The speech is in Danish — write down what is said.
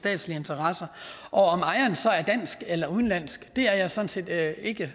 statslige interesser og om ejeren så er dansk eller udenlandsk er jeg sådan set ikke